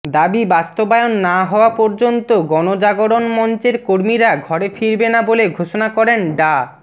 দাবি বাস্তবায়ন না হওয়া পর্যন্ত গণজাগরণ মঞ্চের কর্মীরা ঘরে ফিরবেন না বলে ঘোষণা করেন ডা